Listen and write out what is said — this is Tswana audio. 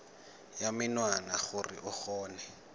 ya menwana gore o kgone